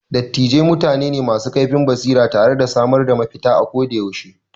Dattijai mutane ne masu kaifin basira tare da samar da mafita ako da yaushe.